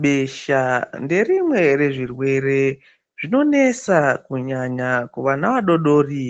Besha nderimwe rezvirwere zviinonesa kunyanya kuvana vadodori